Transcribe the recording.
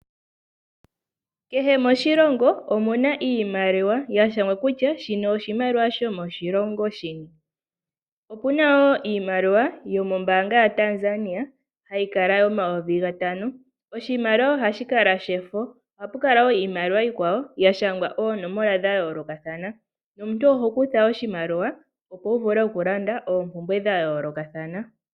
Kehe moshilongo omuna iimaliwa, yashangwa kutya shino oshimaliwa shomoshilongo shini . Opuna wo iiimaliwa yomoombaanga yaTanzania , hayi kala yo5000. Oshimaliwa ohashi kala shefo, ohapu kala wo iimaliwa iikwawo yashangwa oonomola dhayoolokathana. Omuntu oho kutha oshimaliwa wulande oompumbwe dhayoolokathana.